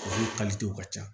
Olu ka ca